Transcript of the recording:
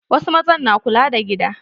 Wasu mazan na kula da gida.